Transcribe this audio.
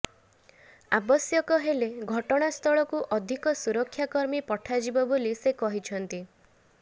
ଆବଶ୍ୟକ ହେଲେ ଘଟଣାସ୍ଥଳକୁ ଅଧିକ ସୁରକ୍ଷାକର୍ମୀ ପଠାଯିବ ବୋଲି ସେ କହିଛନ୍ତି